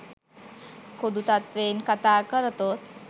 පොදු තත්ත්වයෙන් කතා කරතොත්